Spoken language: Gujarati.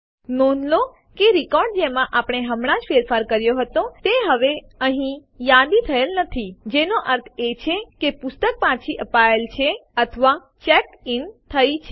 નોંધ લો કે રેકોર્ડ જેમાં આપણે હમણાં જ ફેરફાર કર્યો હતો તે હવે અહીં યાદી થયેલ નથી જેનો અર્થ એ છે કે પુસ્તક પાછી અપાયેલ છે અથવા ચેક્ડ ઇન થયી છે